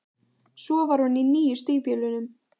Svo var hún í nýju stígvélunum.